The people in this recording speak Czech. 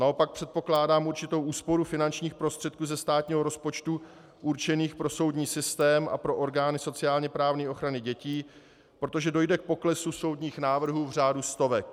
Naopak předpokládám určitou úsporu finančních prostředků ze státního rozpočtu určených pro soudní systém a pro orgány sociálně-právní ochrany dětí, protože dojde k poklesu soudních návrhů v řádu stovek.